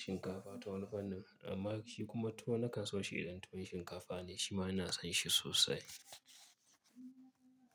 shinkafa ta wani fanin, amma shi kuma tuwo na kan so shi idan tuwon shinkafa ne shi ma ina son shi sosai.